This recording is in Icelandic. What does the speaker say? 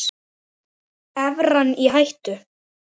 Evran í hættu?